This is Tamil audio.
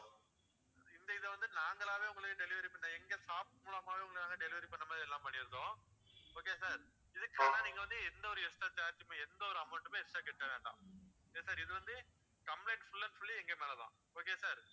இப்போ இந்த இதை வந்து நாங்களாவே உங்களுக்கு delivery பண்றோம் எங்க staff மூலமாவே உங்களுக்கு delivery பண்ண மாதிரி எல்லாமே பண்ணிருதோம் okay யா sir இதுக்கு வந்து நீங்க வந்து எந்த ஒரு extra charge உமே எந்த ஒரு amount உமே extra கட்ட வேண்டாம் okay யா sir இது வந்து complaint full and full எங்க மேல தான் okay யா sir